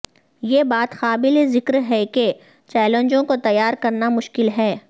یہ بات قابل ذکر ہے کہ چیلنجوں کو تیار کرنا مشکل ہے